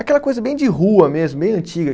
Aquela coisa bem de rua mesmo, bem antiga.